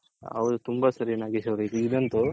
ಹೌದು ತುಂಬಾ ಸರಿ ನಾಗೇಶ್ ಅವ್ರೆ ಇಗ್ ಅಂತು